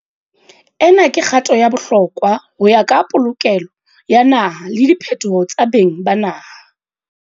"Ena ke kgato ya bohlokwa ho ya ka polokelo ya naha le diphetoho tsa beng ba naha."